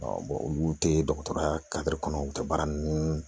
olu tɛ dɔgɔtɔrɔya kɔnɔ u ka baara ninnu